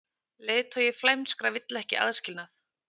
Leiðtogi flæmskra vill ekki aðskilnað